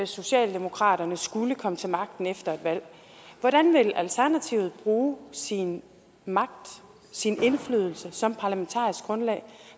socialdemokratiet skulle komme til magten efter et valg hvordan vil alternativet bruge sin magt sin indflydelse som parlamentarisk grundlag